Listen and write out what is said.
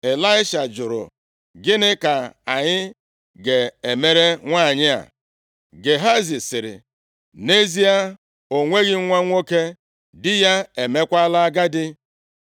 Ịlaisha jụrụ, “Gịnịkwa ka anyị ga-emere nwanyị a?” Gehazi sịrị, “Nʼezie, o nweghị nwa nwoke, di ya emeekwala agadi.”